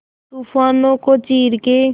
तूफानों को चीर के